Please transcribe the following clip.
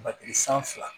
Matigi san fila